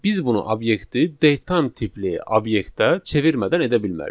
Biz bunu obyekti datetime tipli obyektə çevirmədən edə bilmərik.